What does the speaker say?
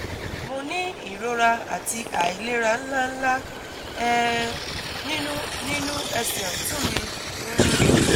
Mo ní ìrora àti àìlera ńláǹlà um nínú nínú ẹsẹ̀ ọ̀tún mi um